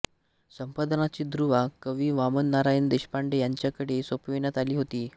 संपादनाची धुरा कवी वामन नारायण देशपांडे यांच्याकडे सोपविण्यात आली होती